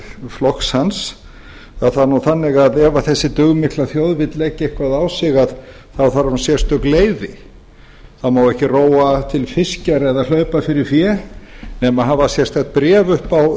flokks hans var það nú þannig að ef þessi dugmikla þjóð vill leggja eitthvað á sig þá þarf hún sérstök leyfi það má ekki róa til fiskjar eða hlaupa fyrir fé nema að hafa sérstakt bréf upp á